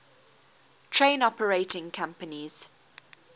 train operating companies